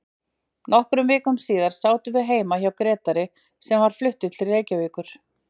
Nokkrum vikum síðar sátum við heima hjá Grétari sem var fluttur til Reykjavíkur.